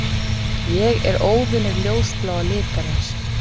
Ég er óvinur ljósbláa litarins.